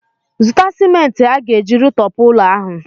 Zụta sịmenti a ga-eji rụtọpụ ụlọ ahụ!